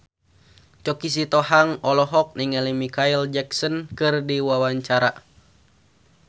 Choky Sitohang olohok ningali Micheal Jackson keur diwawancara